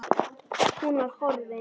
Hún var horfin.